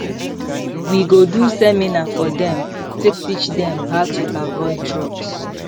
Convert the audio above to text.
we go do seminar for dem take teach dem how to avoid drugs